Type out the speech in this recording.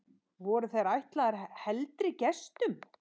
Voru þær ætlaðar heldri gestum.